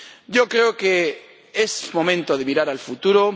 Yo creo que es momento de mirar al futuro.